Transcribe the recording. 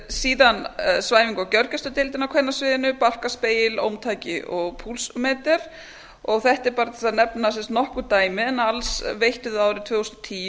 síðan svæfinga og gjörgæsludeildin á kvennasviðinu barkaspegil ómtæki og púlsmetra þetta er bara til að nefna nokkur dæmi en alls veittum við árið tvö þúsund og tíu